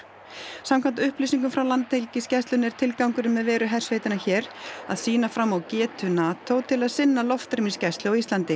samkvæmt upplýsingum frá Landhelgisgæslunni er tilgangurinn með veru hersveitanna hér að sýna fram á getu NATO til að sinna loftrýmisgæslu á Íslandi